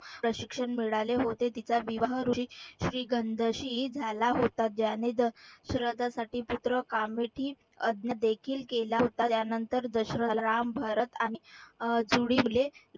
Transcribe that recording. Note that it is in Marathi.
प्रशिक्षण मिळाले होते. तिचा विवाह झाला होता. ज्याने दशरथासाठी पुत्र प्राप्ती यद्य देखील केला होता त्यानंतर राम दशरथाला राम, भरत आणि अह